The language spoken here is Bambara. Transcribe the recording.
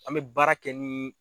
An bɛ baara kɛ ni